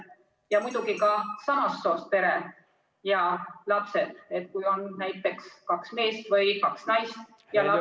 Ja muidugi ka samast soost pere ja lapsed, kui on näiteks kaks meest või kaks naist ja lapsed ...